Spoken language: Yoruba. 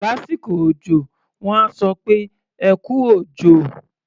Lásìkò òjọ, wọ́n á sọ pé "ẹ kú òjò".